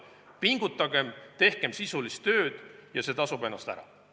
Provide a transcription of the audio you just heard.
Pingutagem, tehkem sisulist tööd ja see tasub ennast ära.